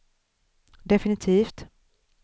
definitivt